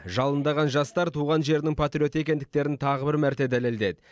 жалындаған жастар туған жерінің патриоты екендіктерін тағы бір мәрте дәлелдеді